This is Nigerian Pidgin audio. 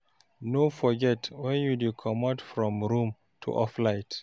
No forget when you dey comot from room to off light